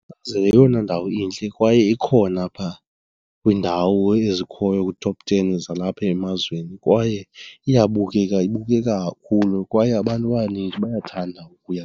yeyona ndawo intle kwaye ikhona phaa kwiindawo ezikhoyo kwi-top ten zalapha emazweni kwaye iyabukeleka ibukeka kakhulu kwaye abantu abanintsi bayathanda ukuya.